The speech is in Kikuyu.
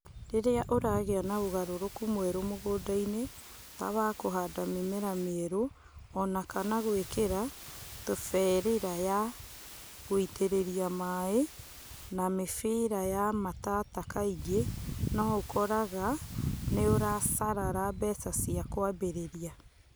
Rĩrĩa ũragia na ugarũrũku mwerũ mugũndaini tawa kũhanda mĩmera mĩeru ona kana gwikira tuberĩra ya gui̅tĩrĩrĩa mai na mĩbĩra ya matata kaingi nĩ ũkoraga nĩ urasalara mbeca cia kwambirĩria.